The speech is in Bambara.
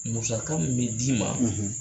Musaka min d'i ma